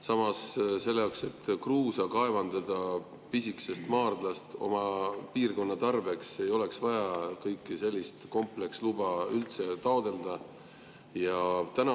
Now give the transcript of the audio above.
Samas, selle jaoks, et kruusa kaevandada pisikesest maardlast oma piirkonna tarbeks, ei oleks vaja kõiki sellist kompleksluba üldse taotleda.